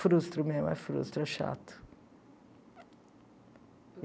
Frustro mesmo, é frustro, é chato.